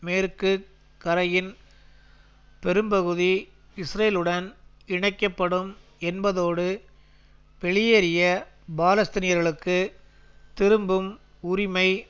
மேற்கு கரையின் பெரும்பகுதி இஸ்ரேலுடன் இணைக்க படும் என்பதோடு வெளியேறிய பாலஸ்தீனியர்களுக்கு திரும்பும் உரிமை